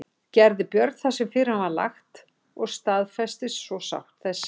Gerði Björn það sem fyrir hann var lagt og staðfestist svo sátt þessi.